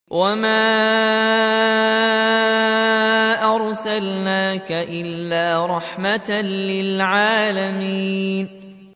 وَمَا أَرْسَلْنَاكَ إِلَّا رَحْمَةً لِّلْعَالَمِينَ